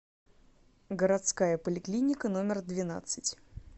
городская поликлиника номер двенадцать